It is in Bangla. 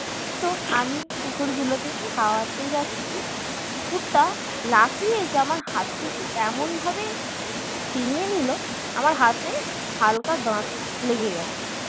তো আমি কুকুর গুলোকে খাওয়াতে যাচ্ছি কুকুরটা লাফিয়ে এসে আমার হাত থেকে এমনভাবে ছিনিয়ে নিলো আমার হাতে হালকা দাঁত লেগে গেছে